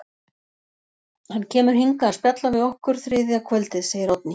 Hann kemur hingað að spjalla við okkur þriðja kvöldið, segir Oddný.